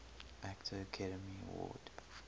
actor academy award